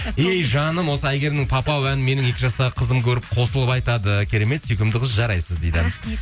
ей жаным осы әйгерімнің папау әнін менің екі жастағы қызым көріп қосылып айтады керемет сүйкімді қыз жарайсыз дейді рахмет